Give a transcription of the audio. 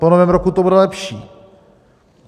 Po Novém roku to bude lepší.